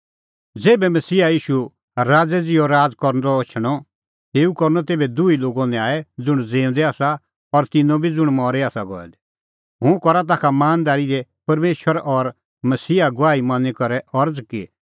ज़ेभै मसीहा ईशू राज़ै ज़िहअ राज़ करदअ एछणअ तेऊ करनअ तेभै दुही लोगो न्याय ज़ुंण ज़िऊंदै आसा और तिन्नों बी ज़ुंण मरी आसा गऐ दै हुंह करा ताखा मानदारी दी परमेशर और मसीहा गवाही मनी करै अरज़ कि